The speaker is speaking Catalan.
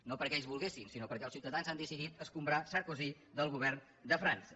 no perquè ells volguessin sinó perquè els ciutadans han decidit escombrar sarkozy del govern de frança